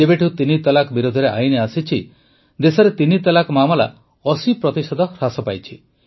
ଯେବେଠୁ ତିନି ତଲାକ ବିରୋଧରେ ଆଇନ ଆସିଛି ଦେଶରେ ତିନି ତଲାକ ମାମଲା ୮୦ ପ୍ରତିଶତ ହ୍ରାସ ପାଇଛି